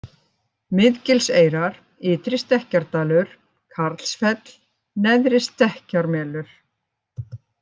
Miðgilseyrar, Ytri-Stekkjardalur, Karlsfell, Neðri-Stekkkjarmelur